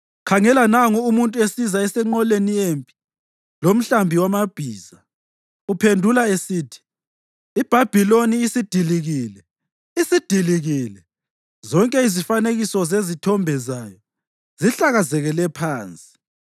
Khangela, nangu umuntu esiza esenqoleni yempi lomhlambi wamabhiza. Uphendula esithi, ‘IBhabhiloni isidilikile, isidilikile! Zonke izifanekiso zezithombe zayo zihlakazekele phansi!’ ”